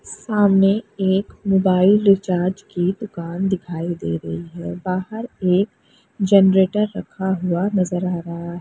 सामने एक mobile recharge की दुकान दिखाई दे रही है बाहर एक जनरेटर रखा हुआ नजर आ रहा है।